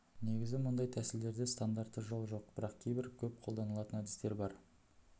негізі мұндай тәсілдерде стандартты жол жоқ бірақ кейбір көп қолданылатын әдістер бар